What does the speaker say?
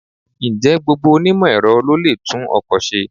Ǹjẹ́ gbogbo onímọ̀-Ẹ̀rọ ló lè tún ọkọ̀ ṣe?